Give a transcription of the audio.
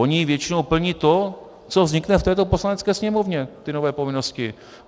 Oni většinou plní to, co vznikne v této Poslanecké sněmovně, ty nové povinnosti.